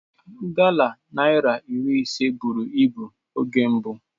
Gala naira iri ise buru ibu oge mbụ.